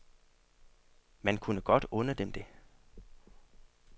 Man kunne godt unde dem det.